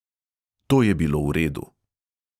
To je bilo v redu.